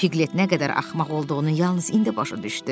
Piqlet nə qədər axmaq olduğunu yalnız indi başa düşdü.